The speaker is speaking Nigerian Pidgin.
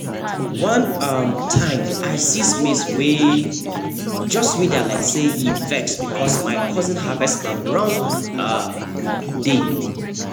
one um time i see maize wey just wither like say e vex because my cousin harvest am on wrong um day